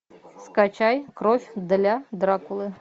скачай кровь для дракулы